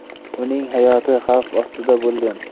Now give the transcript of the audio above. Uning hayoti xavf ostida bo‘lgan.